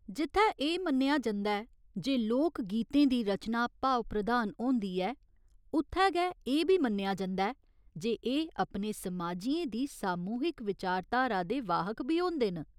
जित्थै एह् मन्नेआ जंदा ऐ जे लोक गीतें दी रचना भाव प्रधान होंदी ऐ उत्थै गै एह् बी मन्नेआ जंदा ऐ एह् अपने समाजियें दी सामूहिक विचारधारा दे वाहक बी होंदे न।